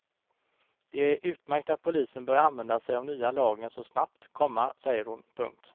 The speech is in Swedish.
Det är utmärkt att polisen börjar använda sig av nya lagen så snabbt, komma säger hon. punkt